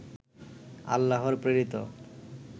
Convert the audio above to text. আল্লাহর প্রেরিত